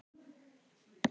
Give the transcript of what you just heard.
Nú er ég grár.